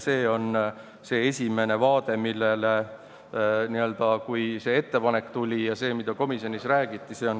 See on see esimene vaade, millele me tähelepanu pöörasime, kui see ettepanek tuli ja see, mida komisjonis räägiti.